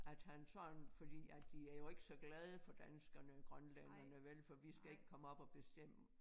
At han sådan fordi at de er jo ikke så glade for danskerne grønlænderne vel for vi skal ikke komme op og bestemme